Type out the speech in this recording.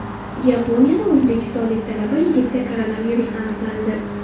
Yaponiyada o‘zbekistonlik talaba yigitda koronavirus aniqlandi.